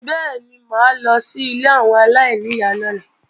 Bẹ́ẹ̀ni mà á lọ sí ilé àwọn aláìníyá lọ́la